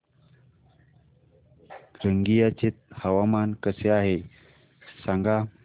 रंगिया चे हवामान कसे आहे सांगा